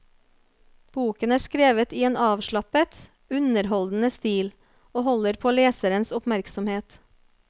Boken er skrevet i en avslappet, underholdende stil, og holder på leserens oppmerksomhet.